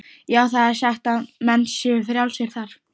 Já, það er sagt að menn séu frjálsir þar.